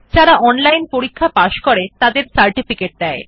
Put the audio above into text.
যারা অনলাইন পরীক্ষা পাস করে তাদের সার্টিফিকেট দেয়